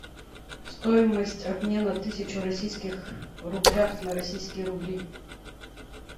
стоимость обмена тысячу российских рублях на российские рубли